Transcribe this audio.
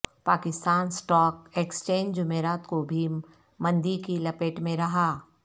Pakistan stock exchange جمعرات کو بھی مندی کی لپیٹ میں رہا